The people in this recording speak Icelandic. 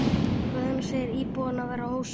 Guðrún segir íbúana vera ósátta.